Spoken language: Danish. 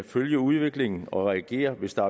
følge udviklingen og reagere hvis der